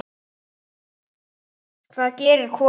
Hvað gerir kona?